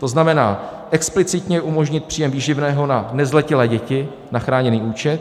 To znamená explicitně umožnit příjem výživného na nezletilé děti na chráněný účet.